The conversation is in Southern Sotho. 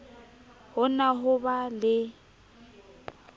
ho na ho ba le